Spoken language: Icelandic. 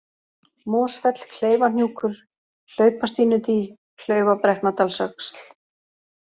Mosfell, Kleifahnjúkur, Hlaupastínudý, Klaufabrekknadalsöxl